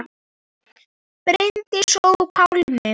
Bryndís og Pálmi.